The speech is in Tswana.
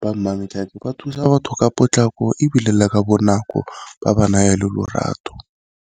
ba Mmametlhake ba thusa batho ka potlako, ebile le ka bonako ba ba naya le lorato.